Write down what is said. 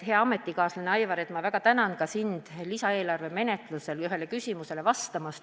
Hea ametikaaslane, Aivar, ma kõigepealt väga tänan sind lisaeelarve menetlusel ühele küsimusele vastamast.